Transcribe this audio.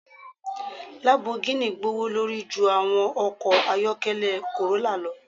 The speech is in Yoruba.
Lambogini gbowolori ju awọn ọkọ ayọkẹlẹ corrolla lọ